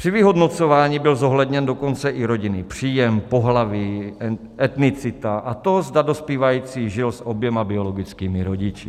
Při vyhodnocování byl zohledněn dokonce i rodinný příjem, pohlaví, etnicita a to, zda dospívající žil s oběma biologickými rodiči.